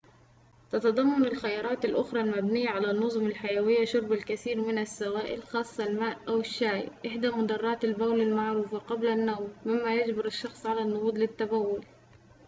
تتضمن الخيارات الأخرى، المبنية على النظم الحيوية، شرب الكثير من السوائل خاصة الماء أو الشاي، إحدى مُدرّات البول المعروفة قبل النوم، مما يجبر الشخص على النهوض للتبول